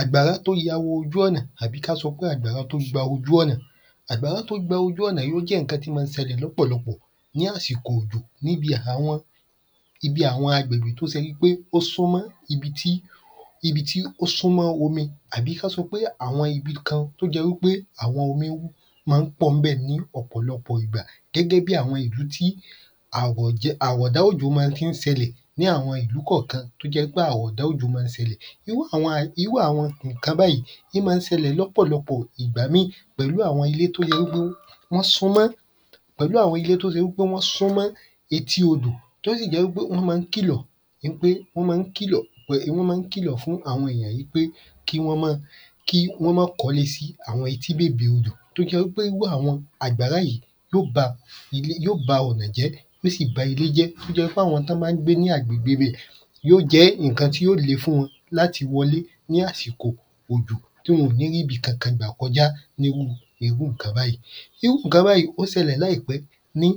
Àgbàrá t’ó ya ojú ọ̀nà àbí k’á sọ pé àgbàrá t’ó gba ojú ọ̀nà Àgbàrá tí gba ojú ọ̀nà ó jẹ́ ìnkan t’ó má ń sẹlẹ̀ lọ́pọ̀lọpọ̀ ní ásìkò òjò ibi àwọn agbègbè ó súmọ́ ibi tí ó súmọ́ omi àbí k’á sọ pé àwọn ibi kan t’ó jẹ wí pé àwọn omi má ń pọ̀ ń bẹ̀ ní ọ̀pọ̀lọpọ̀ ìgbà gẹ́gẹ́ bí àwọn ibi tí àrọ̀dá òjò ma tí ń sẹlẹ̀ ní àwọ ìlú kọ̀kan t’ó jẹ́ pé àrọ̀dá òjò ma ń sẹlẹ̀ Irú àwọn ìnkan báyí ín má ń sẹlẹ̀ l’ọ́pọ̀lọpọ̀ Ìgbà míì pẹ̀lú àwọn t’ó ye wí pé wọ́n súmọ́ pẹ̀lú àwọn t’ó se wi pé wọ́n súmọ́ etí odò t’ó sì jẹ́ wí pé wọ́n má ń kìlọ̀ wọ́n má ń kìlọ̀ fún àwọn yàn í pé kí wọ́n má k’ọ́lé sí àwọn etí bèbè odò t’ó jẹ wí pé írú àwọn àgbàrá yí yó gba yó ba ọ̀nà jẹ́ t’ó sì ba ilé jẹ́ t’ó jẹ wí pé àwọn t’ọ́ bá ń gbé ní àgbègbè ibẹ̀ yó jẹ́ ìnkan tí ó le fún wọn l’áti wọ ‘lé ní àsìkò òjò tí wọn ò ní r’íbi kankan gbà kọjá n’írú irú ǹkan báyí Irú ǹkan báyí ó sẹlẹ̀ láìpé ní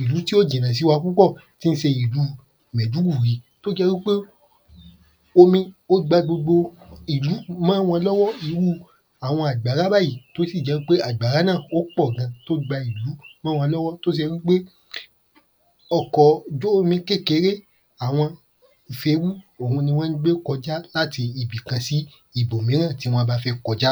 ìlú tí ò jìnà sí wa púpọ̀ t’ó ń se ìlú mẹ̀dúgùrí omi ó gba gbogbo ìlú mọ́ wọn l’ọ́wọ́ àwọn àgbàrá báyí t’ó sì jẹ́ pé àgbàrá náà wọ́n pọ̀ gan t’ó gba ìlú mọ́ wọn l’ọ́wọ́ ọkọ̀ ojú omi kékeré àwọn ferú ohun ní wọ́n gbé kọjá l’áti ibi kan sí ibọ̀míràn tí wọ́n bá fẹ́ kọjá.